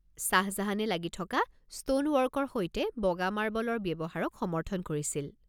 ছাহজাহানে লাগি থকা ষ্ট'ন ৱৰ্কৰ সৈতে বগা মাৰ্বলৰ ব্যৱহাৰক সমৰ্থন কৰিছিল।